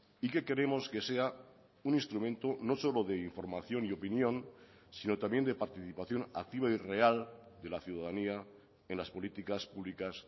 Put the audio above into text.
y que queremos que sea un instrumento no solo de información y opinión sino también de participación activa y real de la ciudadanía en las políticas públicas